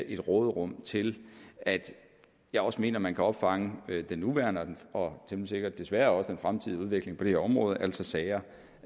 et råderum til at jeg også mener man kan opfange den nuværende og temmelig sikkert desværre også den fremtidige udvikling på det her område altså sager